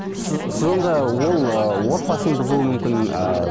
сіз сіз онда ол ыыы отбасын бұзуы мүмкін ыыы